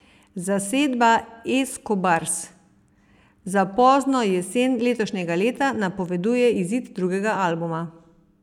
Zasedba Eskobars za pozno jesen letošnjega leta napoveduje izid drugega albuma.